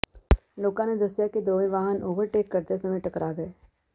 ਲੋਕਾਂ ਨੇ ਦੱਸਿਆ ਕਿ ਦੋਵੇਂ ਵਾਹਨ ਓਵਰਟੇਕ ਕਰਦੇ ਸਮੇਂ ਟਕਰਾ ਗਏ